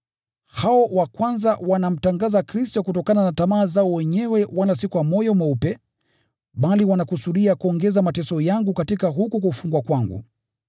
Hao wa kwanza wanamtangaza Kristo kutokana na tamaa zao wenyewe wala si kwa moyo mweupe, bali wanakusudia kuongeza mateso yangu katika huku kufungwa kwangu.